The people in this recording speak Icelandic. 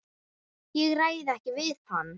Ég ræð ekki við hann!